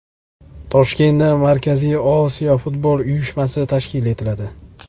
Toshkentda Markaziy Osiyo futbol uyushmasi tashkil qilinadi.